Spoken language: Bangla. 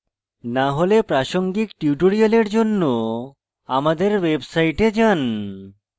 না হলে প্রাসঙ্গিক tutorials জন্য আমাদের website যান